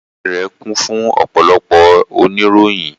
Ọ́fíìsì rẹ̀ kún fún ọ̀pọ̀lọpọ̀ oníròyìn